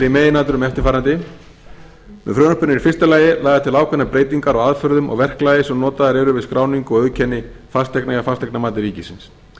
í meginatriðum eftirfarandi með frumvarpinu eru í fyrsta lagi lagðar til ákveðnar breytingar á aðferðum og verklagi sem notaðar eru við skráningu og auðkenni fasteigna hjá fasteignamati ríkisins